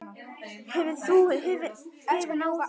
Yrðir þú hrifinn af því?